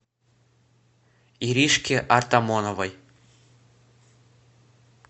иришке артамоновой